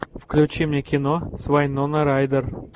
включи мне кино с вайнона райдер